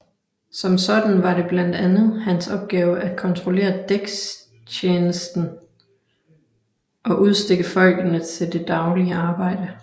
Som sådan var det blandt andet hans opgave at kontrollere dækstjenesten og udstikke folkene til det daglige arbejde